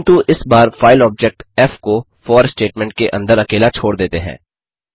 किन्तु इस बार फाइल ऑब्जेक्ट फ़ को फॉर स्टेटमेंट के अंदर अकेला छोड़ देते हैं